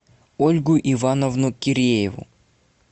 ольгу ивановну кирееву